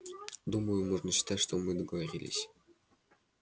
думаю можно считать что мы договорились